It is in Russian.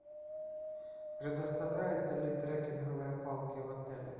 предоставляются ли трекинговые палки в отеле